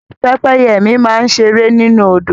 Pẹ́pẹ́yẹ mi máa ń ṣe eré nínú Odò